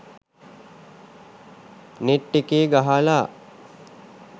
net එකේ ගහලා